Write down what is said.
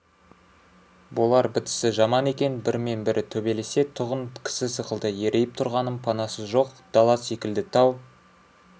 болар бітісі жаман екен бірімен-бірі төбелесе-тұғын кісі сықылды ерейіп тұрғанын панасы жоқ дала секілді тау